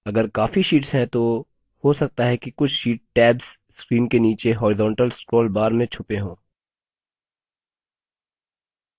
अगर काफी शीट्स हैं तो हो सकता है कि कुछ sheets tabs screen के नीचे horizontal scroll bar में छुपे हों